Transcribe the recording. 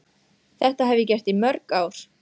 Þetta hef ég gert í mörg ár.